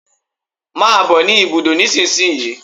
Come to the bus stop now